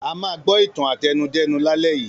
A máa gbọ́ ìtàn àtẹnudẹ́nu lálẹ́ yìí.